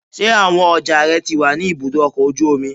Ṣé àwọn ọjà rẹ ti wà ní ibùdó ọkọ̀ ojú omi?